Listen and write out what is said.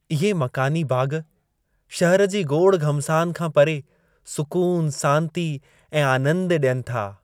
इहे मक़ानी बाग़, शहर जी गोड़-घमसान खां परे सुकूनु, सांती ऐं आनंदु ॾियनि था।